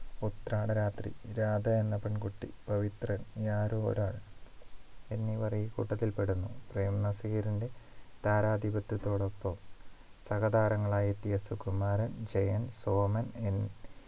ഉത്രാട രാത്രി രാധ എന്ന പെൺകുട്ടി പവിത്രൻ ആരോ ഒരാൾ എന്നിവർ ഈ കൂട്ടത്തിൽ പെടുന്നു പ്രേം നസീറിന്റെ താരാധിപത്യത്തോടൊപ്പം സഹതാരങ്ങളായി എത്തിയ സുകുമാരൻ ജയൻ സോമൻ എന്ന്